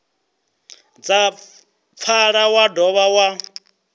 dza pfala wa dovha wa